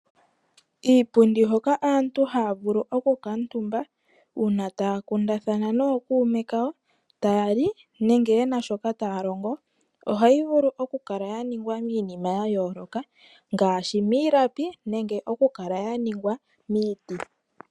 Iipundi hoka aantu haya vulu oku kala omutumba uuna taya kundathana nookuume kawo, tayali nenge yena shoka taya longo. Ohayi vulu oku kala ya ningwa miinima ya yooloka ngaashi miilapi, nenge okukala ya ningwa miiti.